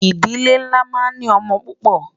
ìdílé nlá má ń ní ọ̀mò púpò